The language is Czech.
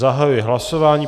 Zahajuji hlasování.